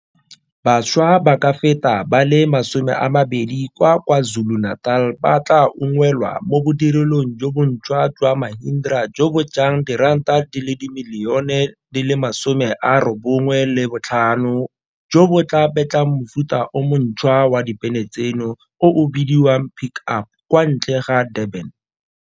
Bašwa ba ka feta ba le 20 kwa Kwa Zulu-Natal ba tla unngwelwa mo bodirelong jo bonšhwa jwa Mahindra jo bo jang R95 milione jo bo tla betlang mofuta o mo ntšhwa wa dibene tseno o o bidiwang Pick Up kwa ntle ga Durban.